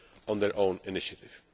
on their own initiative.